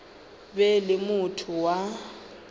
be e le motho wa